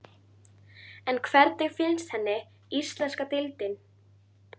En hvernig finnst henni íslenska deildin?